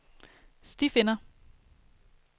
stifinder